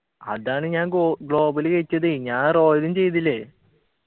അതാണ് ഞാൻ go global ചെയ്യിച്ചതെ ഞാൻ royal ഉം ചെയ്തില്ലേ